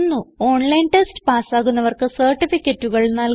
online test പാസ്സാകുന്നവർക്ക് സർട്ടിഫികറ്റുകൾ നല്കുന്നു